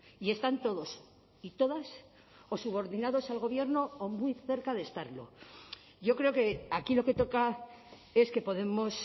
y están todos y todas o subordinados al gobierno o muy cerca de estarlo yo creo que aquí lo que toca es que podemos